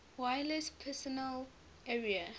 wireless personal area